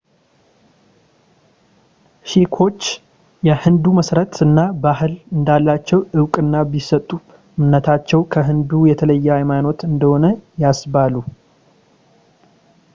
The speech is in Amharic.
ሺክዎች የሂንዱ መሠረት እና ባህል እንዳላቸው ዕውቅና ቢሰጡም እምነታቸው ከሂንዱ የተለየ ሃይማኖት እንደሆነ ያስባሉ